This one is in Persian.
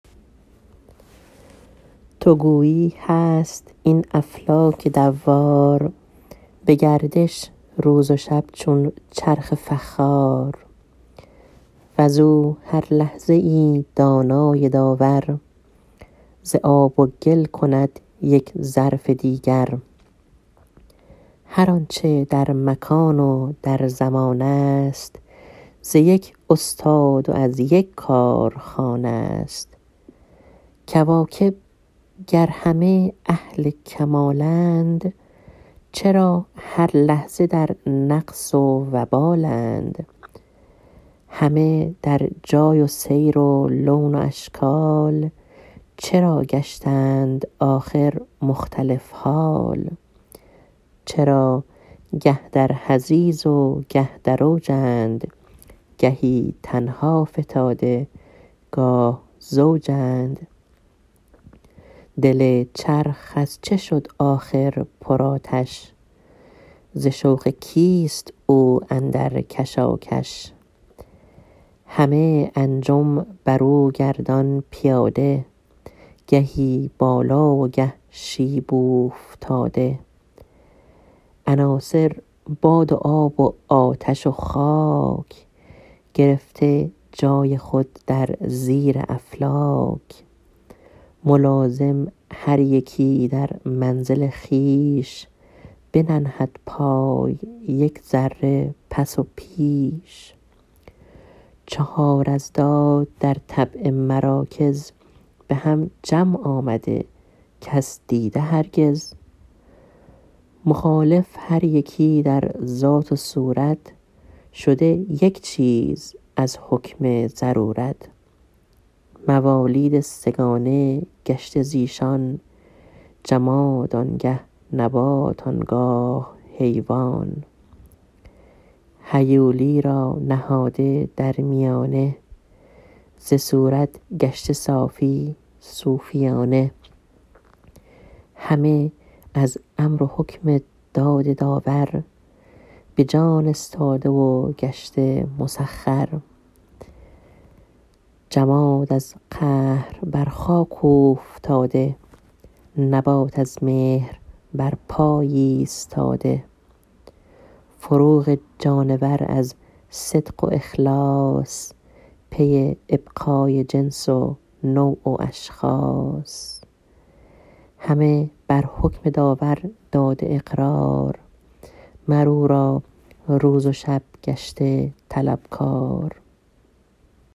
تو گویی هست این افلاک دوار به گردش روز و شب چون چرخ فخار وز او هر لحظه ای دانای داور ز آب و گل کند یک ظرف دیگر هر آنچه در مکان و در زمان است ز یک استاد و از یک کارخانه ست کواکب گر همه اهل کمالند چرا هر لحظه در نقص و وبالند همه در جای و سیر و لون و اشکال چرا گشتند آخر مختلف حال چرا گه در حضیض و گه در اوجند گهی تنها فتاده گاه زوجند دل چرخ از چه شد آخر پر آتش ز شوق کیست او اندر کشاکش همه انجم بر او گردان پیاده گهی بالا و گه شیب اوفتاده عناصر باد و آب و آتش و خاک گرفته جای خود در زیر افلاک ملازم هر یکی در منزل خویش بننهد پای یک ذره پس و پیش چهار اضداد در طبع مراکز به هم جمع آمده کس دیده هرگز مخالف هر یکی در ذات و صورت شده یک چیز از حکم ضرورت موالید سه گانه گشته ز ایشان جماد آنگه نبات آنگاه حیوان هیولی را نهاده در میانه ز صورت گشته صافی صوفیانه همه از حکم و امر و داد داور به جان استاده و گشته مسخر جماد از قهر بر خاک اوفتاده نبات از مهر بر پای ایستاده نزوع جانور از صدق و اخلاص پی ابقای جنس و نوع و اشخاص همه بر حکم داور داده اقرار مر او را روز و شب گشته طلبکار